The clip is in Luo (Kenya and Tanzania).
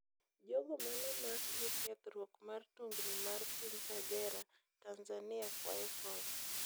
Jogo mano omak gi kethruok mar tungni mar piny Kagera, Tanzania kwayo kony